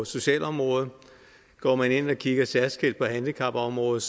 socialområdet går man ind og kigger særskilt på handicapområdet